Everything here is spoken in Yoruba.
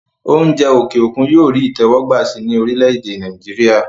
oúnjẹ òkè òkun yóò rí ìtẹ́wọ́gbà sí i ní orílẹ̀-èdè Nàìjíríà